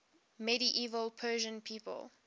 medieval persian people